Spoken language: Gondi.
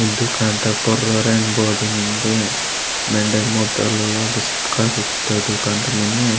दूकान तागा पोर रेन्ड बोड़ मेन्दे मेण्डे मुते लो ओगा चिपका कित्तोर दुकान ता मुने।